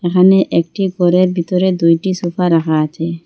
এখানে একটি ঘরের ভিতরে দুইটি সোফা রাখা আছে।